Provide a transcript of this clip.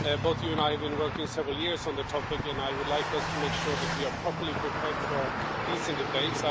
Both you and I have been working for several years on the topic, and I would like to make sure that we are properly prepared for a decent debate.